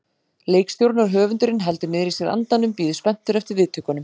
Leikstjórinn og höfundurinn heldur niðri í sér andanum, bíður spenntur eftir viðtökunum.